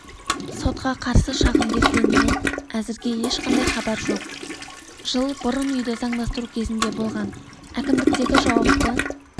сотқа қарсы шағым бергенімен әзірге ешқандай хабар жоқ жыл бұрын үйді заңдастыру кезінде болған әкімдіктегі жауапты